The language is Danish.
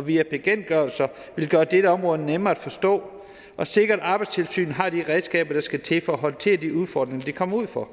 via bekendtgørelser gøre dette område nemmere at forstå og sikre at arbejdstilsynet har de redskaber der skal til for at håndtere de udfordringer de kommer ud for